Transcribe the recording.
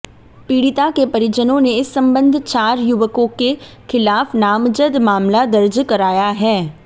पीड़िता के परिजनों ने इस संबंध चार युवकों के खिलाफ नामजद मामला दर्ज कराया है